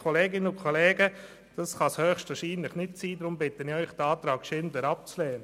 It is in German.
Das ist aus meiner Sicht nicht richtig, deshalb bitte ich Sie, diesen Antrag abzulehnen.